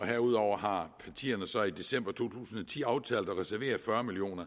herudover har partierne så i december to tusind og ti aftalt at reservere fyrre million